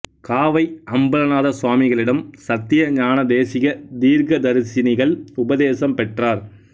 காவை அம்பலநாத சுவாமிகளிடம் சத்திய ஞானதேசிக தீர்க்கதரிசினிகள் உபதேசம் பெற்றார்